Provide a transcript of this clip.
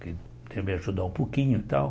Que queria me ajudar um pouquinho e tal.